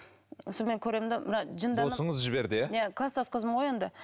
соны мен көремін де жіберді иә иә кластас қызым ғой енді